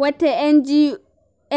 Wata